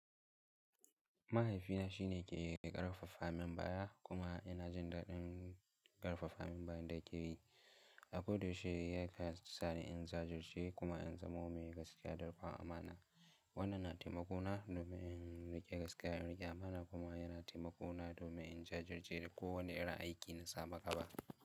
Mahaifina shi ne yake ƙarfafa min baya, kuma ina jin daɗin ƙarfafa min bayan da yake yi. A koda yaushe ya kan sa ni in jajirce kuma in zamo mai gaskiya da rikon amana. Wannan na taimako na domin in riƙe gaskiya, in riƙe amana kuma yana taimako na domin in jajirce da kowane irin aiki na sama gaba.